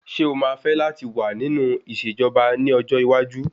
Ṣé o máa fẹ́ láti wà nínú ìṣẹ̀jọba ní ọjọ́ iwájú?